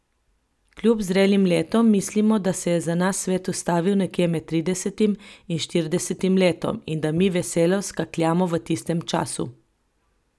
Kljub zrelim letom mislimo, da se je za nas svet ustavil nekje med tridesetim in štiridesetim letom in da mi veselo skakljamo v tistem času.